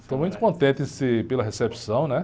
Estou muito contente em ser, pela recepção, né?